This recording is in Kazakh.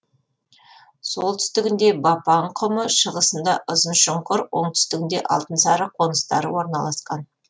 солтүстігінде бапан құмы шығысында ұзыншұңкыр оңтүстігінде алтынсары қоныстары орналасқан